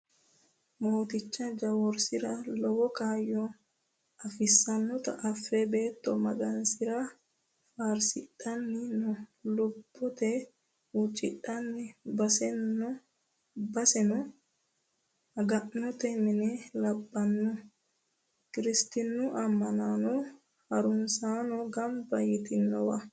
Mooticha guwisira lowo kaayyo afisanotta afe beetto Maganisera faarsidhanni no lubbote huuccidhannj baseno maga'note mine labbano kiristinu ama'no harunsano gamba yitanowa.